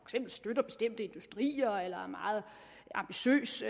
støtter bestemte industrier eller er meget ambitiøs